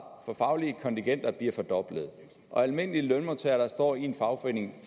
for faglige kontingenter bliver fordoblet hvor almindelige lønmodtagere der står i en fagforening